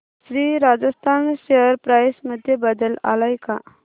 Shri Rajasthan share price मध्ये बदल आलाय का